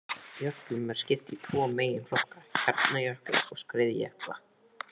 Jöklum er skipt í tvo meginflokka, hjarnjökla og skriðjökla.